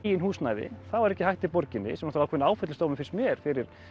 eigin húsnæði það var ekki hægt í borginni sem er ákveðinn áfellisdómur finnst mér fyrir